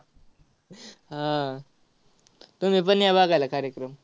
हा आह तुम्हीपण या बघायला कार्यक्रम.